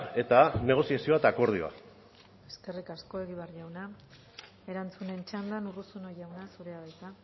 eta negoziazioa eta akordioa eskerrik asko egibar jauna erantzunen txandan urruzuno jauna zurea da hitza